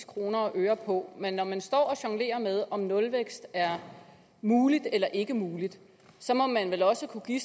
kroner og øre på men når man står og jonglerer med om nulvækst er muligt eller ikke er muligt så må man vel også kunne give